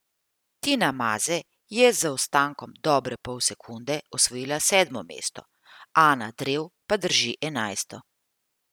Tina Maze je z zaostankom dobre pol sekunde osvojila sedmo mesto, Ana Drev pa drži enajsto.